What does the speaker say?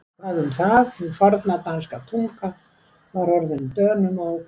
Hvað um það, hin forna danska tunga var orðin Dönum og